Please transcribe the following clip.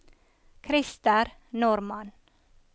Krister Normann